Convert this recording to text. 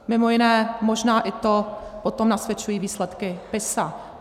Mimo jiné možná i to, toto nasvědčují výsledky PISA.